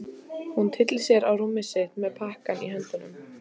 Hún tyllir sér á rúmið sitt með pakkann í höndunum.